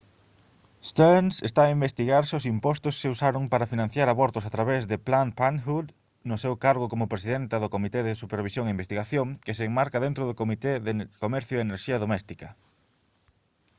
stearns está a investigar se os impostos se usaron para financiar abortos a través de planned parenthood no seu cargo como presidenta do comité de supervisión e investigación que se enmarca dentro do comité de comercio e enerxía doméstica